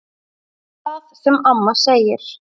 Hvað sem amma segir.